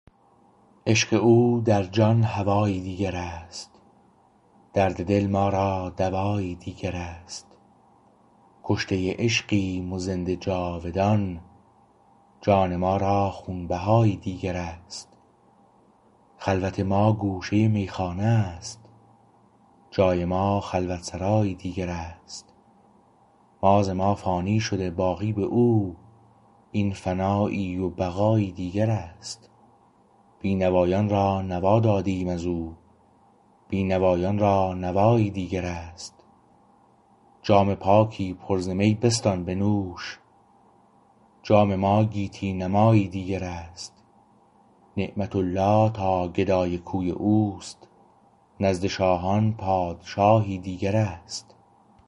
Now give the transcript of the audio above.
عشق او در جان هوایی دیگر است درد دل ما را دوایی دیگر است کشته عشقیم و زنده جاودان جان ما را خونبهایی دیگر است خلوت ما گوشه میخانه است جای ما خلوتسرایی دیگر است ما ز ما فانی شده باقی به او این فنایی و بقایی دیگر است بینوایان را نوا دادیم از او بینوایان را نوایی دیگر است جام پاکی پر ز می بستان بنوش جام ما گیتی نمایی دیگر است نعمت الله تا گدای کوی او است نزد شاهان پادشاهی دیگر است